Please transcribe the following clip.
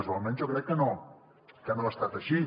o almenys jo crec que no ha estat així